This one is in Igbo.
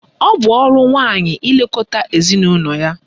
Ọ bụ ọrụ nwaanyị ilekọta ezinaụlọ ya.